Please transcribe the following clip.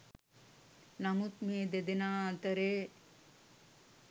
නමුත් මේ දෙදෙනා අතරේ